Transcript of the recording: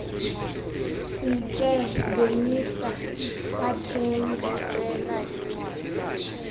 sitye bemisa bathenga